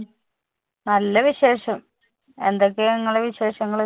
നല്ല വിശേഷം എന്തൊക്കെയാ നിങ്ങളുടെ വിശേഷങ്ങള്‍?